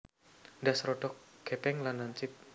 Ndas rodok gèpèng lan lancip